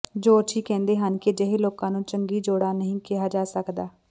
ਜੋਤਸ਼ੀ ਕਹਿੰਦੇ ਹਨ ਕਿ ਅਜਿਹੇ ਲੋਕਾਂ ਨੂੰ ਚੰਗੀ ਜੋੜਾ ਨਹੀਂ ਕਿਹਾ ਜਾ ਸਕਦਾ